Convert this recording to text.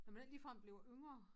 Når man ikke ligefrem blive yngre